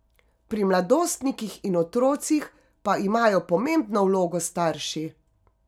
Pri mladostnikih in otrocih pa imajo pomembno vlogo starši.